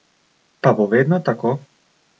Pa bo vedno tako?